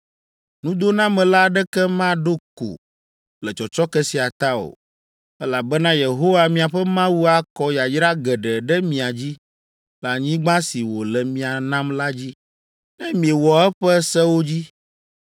Nudonamela aɖeke maɖo ko le tsɔtsɔke sia ta o, elabena Yehowa miaƒe Mawu akɔ yayra geɖe ɖe mia dzi le anyigba si wòle mia nam la dzi, ne miewɔ eƒe sewo dzi.